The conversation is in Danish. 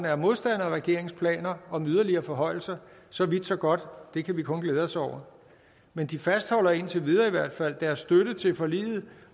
er modstandere af regeringens planer om en yderligere forhøjelse så vidt så godt det kan vi kun glæde os over men de fastholder i indtil videre deres støtte til forliget